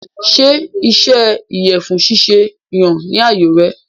Ṣé iṣẹ́ ìyẹ̀fun ṣíṣe yàn ni àyò rẹ?